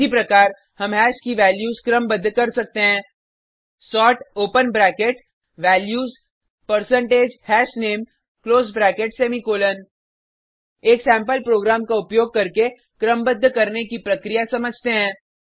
इसी प्रकार हम हैश की वैल्यूज़ क्रमबद्ध कर सकते हैं sort open bracket values percentage hashname close bracket semicolon एक सेम्पल प्रोग्राम का उपयोग करके क्रमबद्ध करने की प्रक्रिया समझते हैं